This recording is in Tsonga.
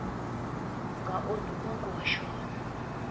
nga onhi mongo wa xona